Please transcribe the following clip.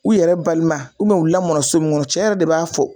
U yɛrɛ balima u lamɔnna so mun kɔnɔ, cɛ yɛrɛ de b'a fɔ